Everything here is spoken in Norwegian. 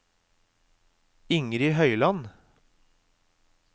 Ingrid Høyland